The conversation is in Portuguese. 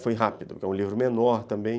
Foi rápido, porque é um livro menor também.